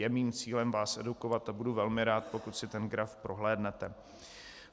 Je mým cílem vás edukovat a budu velmi rád, pokud si ten graf prohlédnete.